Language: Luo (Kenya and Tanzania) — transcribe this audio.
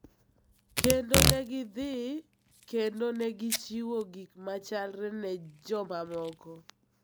kendo ne gidhi kendo ne gichiwo gik machalre ne jomamoko